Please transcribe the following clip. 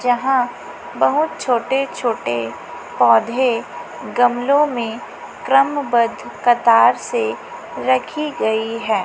यहां बहुत छोटे छोटे पौधे गमलों में क्रमबद्ध कतार से रखी गई है।